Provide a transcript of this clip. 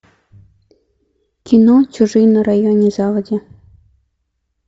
кино чужие на районе заводи